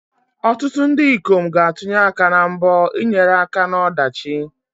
Ọtụtụ ndị ikom ga-atụnye aka na mbọ ịnyere aka na ọdachi.